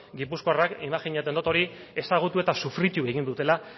gipuzkoarrak imajinatzen dot hori ezagutu eta sufritu egin dutela